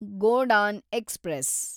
Godan express